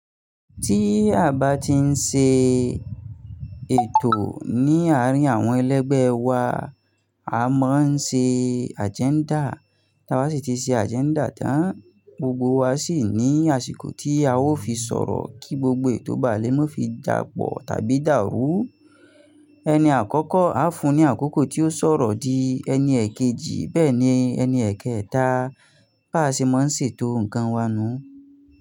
Tí a bá ti ń ṣe ètò ní àárín àwọn ẹlẹ́gbẹ́ wa, a máa ń ṣe agenda. Ta bá sì ti ṣe agenda tán, gbogbo wa sì ní àsìkò tí a ó fi sọ̀rọ̀ kí gbogbo ètò bálé má fi jà pò tàbí dàrú. Ẹni àkọ́kọ́ á fún ní àkókò tí ó sọ̀rọ̀ di, ẹni èkejì bẹ́ẹ̀ ni, ẹni èkéẹ̀ta. Bá ṣe máa ń ṣètò nǹkan wa nù.